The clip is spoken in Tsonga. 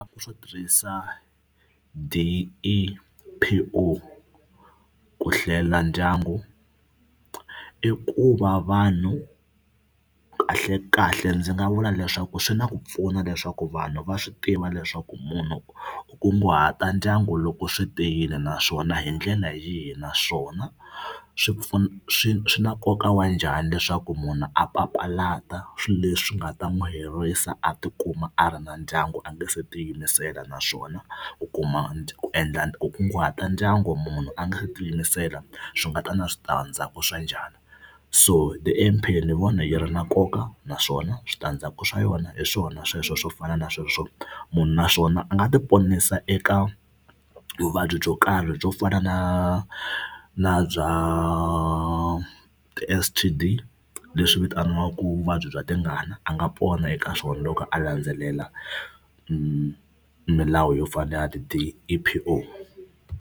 Swo tirhisa D_E_P_O ku hlela ndyangu i ku va vanhu kahlekahle ndzi nga vula leswaku swi na ku pfuna leswaku vanhu va swi tiva leswaku munhu ku kunguhata ndyangu loko swi te yini naswona hi ndlela yihi naswona swi pfuna swi swi na nkoka wa njhani leswaku munhu a papalata swilo leswi nga ta n'wi herisa a tikuma a ri na ndyangu a nga se tiyimisela naswona ku kuma ku endla ku kunguhata ndyangu munhu a nga si tiyimisela swi nga ta na switandzhaku swa njhani. So ni vona yi ri na nkoka naswona switandzhaku swa yona hi swona sweswo swo fana na sweswo munhu naswona a nga tiponisa eka vuvabyi byo karhi byo fana na na bya ti-S_T_D leswi vitaniwaka vuvabyi bya tingana a nga pona eka swona loko a landzelela milawu yo fana ni ya D_E_P_O.